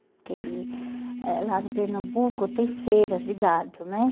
Porque ele eh lá no Pernambuco tem feiras de gado, né?